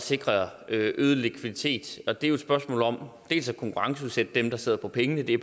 sikre øget likviditet og det er jo et spørgsmål om dels at konkurrenceudsætte dem der sidder på pengene i